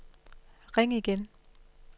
ring igen